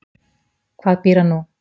Hvað býr hann nú?